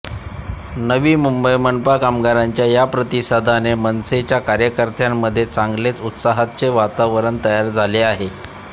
नवी मुंबई मनपा कामगारांच्या या प्रतिसादाने मनसेच्या कार्यकर्त्यांमध्ये चांगलेच उत्साहाचे वातावरण तयार झाले आहे